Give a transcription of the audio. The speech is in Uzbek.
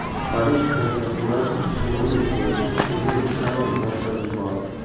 Parij prokuraturasi o‘g‘rilik bo‘yicha tergov ishlarini boshlab yubordi.